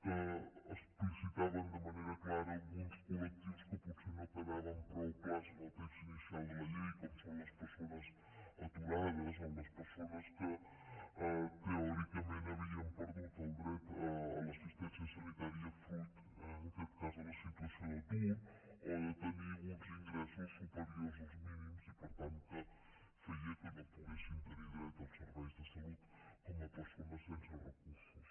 que explicitaven de manera clara alguns col·lectius que potser no quedaven prou clars en el text inicial de la llei com són les persones aturades o les persones que teòricament havien perdut el dret a l’assistència sanitària fruit en aquest cas de la situació d’atur o de tenir uns ingressos superiors als mínims i per tant que feia que no poguessin tenir dret als serveis de salut com a persones sense recursos